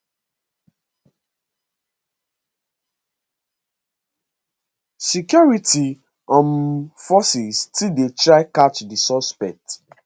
security um forces still dey try catch di suspects